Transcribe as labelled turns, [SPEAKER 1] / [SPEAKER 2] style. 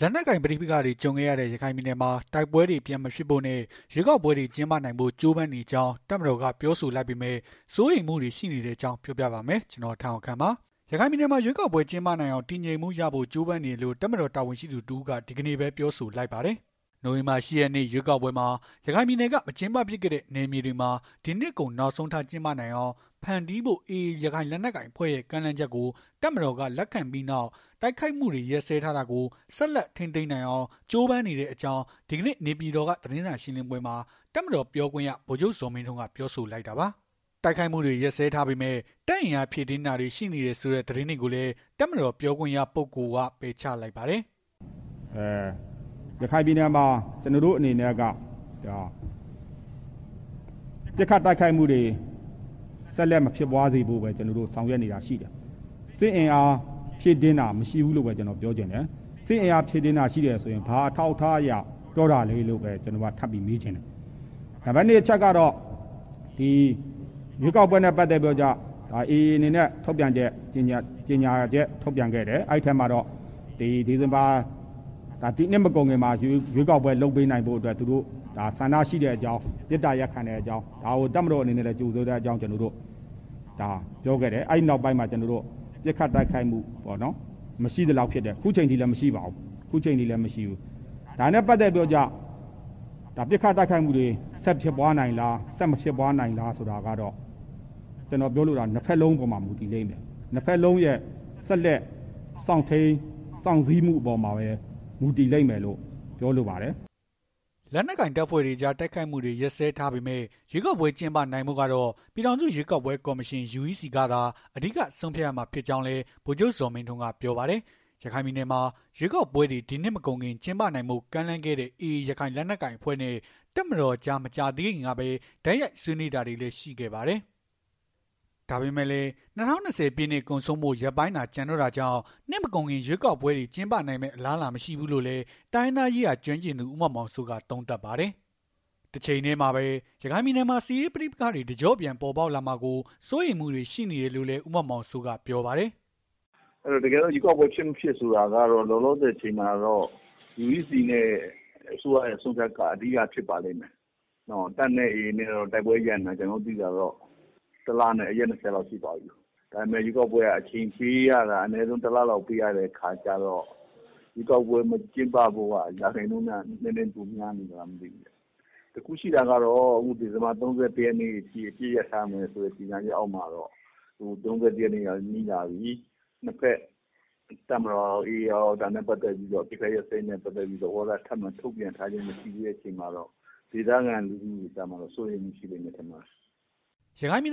[SPEAKER 1] လက်နက်ကိုင်ပဋိပက္ခတွေ ကြုံခဲ့ရတဲ့ ရခိုင်ပြည်နယ်မှာ တိုက်ပွဲတွေ ပြန်မဖြစ်ဖို့နဲ့ ရွေးကောက်ပွဲတွေ ကျင်းပနိုင်ဖို့ ကြိုးပမ်းနေကြောင်း တပ်မတော်က ပြောဆိုလိုက်ပေမဲ့ စိုးရိမ်မှုတွေ ရှိနေတဲ့အကြောင်း ပြောပြပါမယ်။ ဗွီအိုအေမြန်မာပိုင်း သတင်းထောက် ကိုထက်အောင်ခန့်က သတင်းပေးပို့ထားပါတယ်။ ရခိုင်ပြည်နယ်မှာ ရွေးကောက်ပွဲ ကျင်းပနိုင်အောင် တည်ငြိမ်မှုရဖို့ ကြိုးပမ်းနေတယ်လို့ တပ်မတော် တာဝန်ရှိသူ တစ်ဦးက ဒီကနေ့ပဲ ပြောဆိုလိုက်ပါတယ်။ နိုဝင်ဘာလ ၈ ရက်နေ့ ရွေးကောက်ပွဲမှာ ရခိုင်ပြည်နယ်က မကျင်းပဖြစ်ခဲ့တဲ့ နယ်မြေတွေမှာ ဒီနှစ်ကုန်နောက်ဆုံးထား ကျင်းပနိုင်အောင် ဖန်တီးဖို့ AA ရခိုင်လက်နက်ကိုင်အဖွဲ့ရဲ့ ကမ်းလှမ်းချက်ကို တပ်မတော်က လက်ခံလိုက်ပြီးနောက် တိုက်ခိုက်မှုတွေ ရပ်စဲထားတာကို ဆက်လက် ထိန်းသိမ်းနိုင်အောင် ကြိုးပမ်းနေတဲ့အကြောင်း ဒီကနေ့ နေပြည်တော်က သတင်းစာရှင်းလင်းပွဲမှာ တပ်မတော် ပြောခွင့်ရ ဗိုလ်ချုပ်ဇော်မင်းထွန်းက ပြောဆိုလိုက်တာပါ။ တိုက်ခိုက်မှုတွေ ရပ်စဲထားပေမဲ့ တပ်အင်အားဖြည့်တင်းတာတွေ ရှိနေတယ်ဆိုတဲ့ သတင်းတွေကိုလည်း တပ်မတော်ပြောခွင့်ရပုဂ္ဂိုလ်က ပယ်ချလိုက်ပါတယ်။
[SPEAKER 2] “ရခိုင်ပြည်နယ်မှာ ကျနော်တို့အနေနဲ့က ပစ်ခတ်တိုက်ခတ်မှုတွေ ဆက်လက်မဖြစ်ပွားအောင် ဆောင်ရွက်နေတာတွေရှိတယ်။ စစ်အင်အား ဖြည့်တင်းတာမရှိဘူးလို့ပဲ ကျနော်ပြောချင်တယ်။ စစ်အင်အား ဖြည့်တင်းတာရှိတယ်ဆိုရင် ဘာအထောက်အထားအရ ဖြည့်တင်းတာရှိလို့ ပြောတာလည်းဆိုတာကို ကျနော်က ထပ်ပြီး မေးချင်တယ်။ နံပါတ် ၂ အချက်အနေနဲ့ ရွေးကောက်ပွဲနဲ့ ပတ်သက်ပြီးတော့ အေအေအနေနဲ့ ထုတ်ပြန်ချက် ကြေငြာချက် ထုတ်ပြန်ခဲ့တယ်။ ထုတ်ပြန်ချက်ထဲမှာ ဒီနှစ်မကုန်ခင်မှာ ရွေးကောက်ပွဲ လုပ်ပေးနိုင်ဖို့ ဆန္ဒရှိတဲ့အကြောင်း မေတ္တာရပ်ခံတဲ့အကြောင်း ဒါကို တပ်မတော်အနေနဲ့ ကြိုဆိုတဲ့ အကြောင်းပြောခဲ့တယ်။ အဲဒီနောက်ပိုင်း ပစ်ခတ်တိုက်ခိုက်မှု မရှိသလောက်ဖြစ်တယ်။ အခုချိန်ထိလည်း မရှိပါဘူး။ ဒါနဲ့ပတ်သက်ပြီးတော့ ပစ်ခတ် တိုက်ခိုက်မှုတွေ ဆက်ဖြစ်ပွားနိုင်လား ဆက်မဖြစ်ပွားနိုင်လားဆိုတာကတော့ ကျနော်ပြောလိုတာက ၂ ဘက်လုံးအပေါ်မှာ မူတည်လိမ့်မယ်၊ ၂ ဘက်လုံးရဲ့ ဆက်လက် စောင့်ထိန်း၊ စောင့်ဆည်းမှုအပေါ်မှာပဲ မူတည်လိမ့်မယ်လိုပဲ ပြောချင်တယ်။
[SPEAKER 1] ” လက်နက်ကိုင် တပ်ဖွဲ့တွေကြား တိုက်ခိုက်မှုတွေ ရပ်စဲထားပေမဲ့ ရွေးကောက်ပွဲ ကျင်းပနိုင်ဖို့ကတော့ ပြည်ထောင်စု ရွေးကောက်ပွဲကော်မရှင် ကသာ အဓိက ဆုံးဖြတ်ရမှာ ဖြစ်ကြောင်းလည်း ဗိုလ်ချုပ်ဇော်မင်းထွန်းကပြောပါတယ်။ ရခိုင်ပြည်နယ်မှာ ရွေးကောက်ပွဲတွေ ဒီနှစ်မကုန်ခင် ကျင်းပနိုင်ဖို့ ကမ်းလှမ်းခဲ့တဲ့ AA ရခိုင်လက်နက်ကိုင်အဖွဲ့နဲ့ တပ်မတော်ကြား မကြာသေးခင်ကပဲ တိုက်ရိုက်ဆွေးနွေးတာတွေလည်း ရှိခဲ့ပါတယ်။ ဒါပေမဲ့လည်း ၂၀၂၀ ပြည့်နှစ် ကုန်ဆုံးဖို့ ရက်ပိုင်းသာ ကျန်တော့တာကြောင့် နှစ်မကုန်ခင် ရွေးကောက်ပွဲတွေ ပြန်ကျင်းပနိုင်မယ့် အလားအလာ မရှိဘူးလို့လည်း တိုင်းရင်းသားရေးရာ ကျွမ်းကျင်သူ ဦးမောင်မောင်စိုးက သုံးသပ်ပါတယ်။ တချိန်တည်းမှာပဲ ရခိုင်ပြည်နယ်မှာ စစ်ရေးပဋိပက္ခတွေ တကျော့ပြန် ပေါ်ပေါက်လာမှာကို စိုးရိမ်မှုတွေ ရှိနေတယ်လို့ ဦးမောင်မောင်စိုးက ပြောပါတယ်။
[SPEAKER 3] “ရွေးကောက်ပွဲဖြစ်၊ မဖြစ်ဆိုတော့ကတော့ လောလောဆယ်အချိန်မှာတော့ UEC နဲ့ အစိုးရရဲ့ဆုံးဖြတ်ချက်က အဓိက ဖြစ်ပါလိမ့်မယ်။ တပ်နဲ့ အေအေ တိုက်ပွဲရပ်နေတာတော့ ၁ လနဲ့ ရက် ၂၀ လောက်ရှိသွားပြီ။ ဒါပေမဲ့ ရွေးကောက်ပွဲက အချိန်ပေးရတာက ၁ လလောက် အချိန်ပေးရတဲ့အခါကျတော့ ရွေးကောက်ပွဲ မကျင်းပဖို့က ရာခိုင်နှုန်းနည်းနည်းပို များနေသလားပေါ့။ တခုရှိတာက ဒီဇင်ဘာ ၃၁ ရက်ထိ အပစ်ရပ်ထားမယ်ဆိုတဲ့ ကြေငြာချက်အောက်မှာတော့ ၂ ဘက် တပ်မတော်ကရော၊ AA ကရော ဒါနဲ့ပတ်သက်ပြီး အပစ်ခတ်ရပ်စဲရေး သဘောထား ထပ်မံထုတ်ပြန်ထားခြင်းမရှိတာကတော့ ဒေသခံလူထုကတော့ စိုးရိမ်နေကြတယ်။”
[SPEAKER 1] ရခိုင်ပြည်